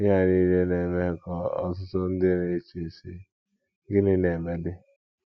Ihe a nile na - eme ka ọtụtụ ndị na - eche, sị: ‘ Gịnị na - emedị ?'.